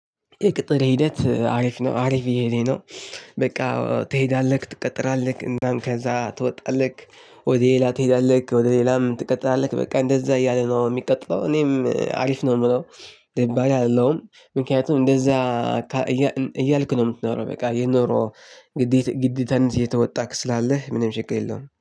የቅጥር ሂደት አሪፍ ነው አሪፍ እሄደ ነው። በቃ ትሄዳለህ ትቀጥራለህ እናም ከዛ ትወጣለህ። ወደ ሌላ ትሄዳለህ ወደ ሌላም ትቀጥራለህ በቃ እንደዛ እያለ ነው። ሚቀጥለው እኔም አሪፍ ነው ምለው። ደባሪ አልለውም ምክንያቱም እንደዛ እያልኩ ነው ምትኖረው። በቃ ይሄ ኑሮ። እንግዲህ ግዴታህን እየተወጣክ ስላለህ ምንም ችግር የለውም